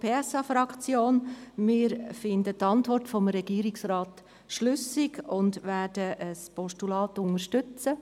Wir erachten die Antwort des Regierungsrats als schlüssig und werden ein Postulat unterstützen.